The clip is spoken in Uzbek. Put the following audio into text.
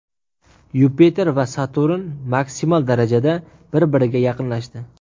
Yupiter va Saturn maksimal darajada bir-biriga yaqinlashdi .